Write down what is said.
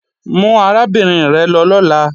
Mú arábìnrin rẹ̀ lọ lọ́la!